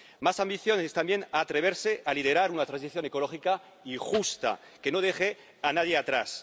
Más ambición es también atreverse a liderar una transición ecológica y justa que no deje a nadie atrás.